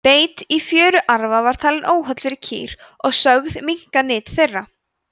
beit á fjöruarfa var talinn óholl fyrir kýr og sögð minnka nyt þeirra